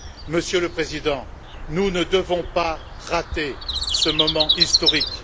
Monsieur le Président, nous ne devons pas rater ce moment historique.